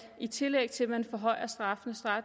et tillæg til at man forhøjer straffene